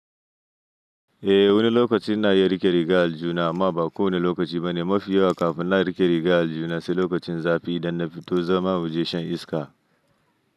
Eh wani lokaci na iya riƙe riga aljuna amma ba kowane lokaci ba ne. Mafiyawa kafin na riƙe riga aljuna sai lokacin zafi idan na fito zama wajen shan iska.